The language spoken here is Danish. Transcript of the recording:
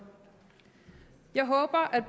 jeg håber at